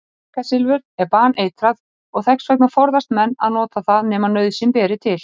Kvikasilfur er baneitrað og þess vegna forðast menn að nota það nema nauðsyn beri til.